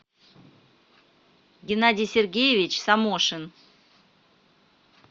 геннадий сергеевич самошин